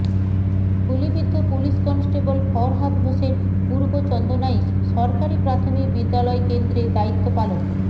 গুলিবিদ্ধ police constable Farhad Hossain Purba Chandanaish সরকারি প্রাথমিক বিদ্যালয় কেন্দ্রে দায়িত্ব পালন